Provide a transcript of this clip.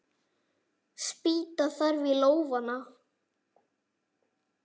Spýta þarf í lófana.